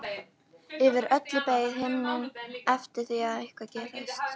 Yfir öllu beið himinninn eftir því að eitthvað gerðist.